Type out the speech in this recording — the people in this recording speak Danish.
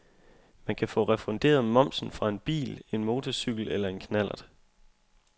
Man kan få refunderet momsen fra en bil, en motorcykel eller en knallert.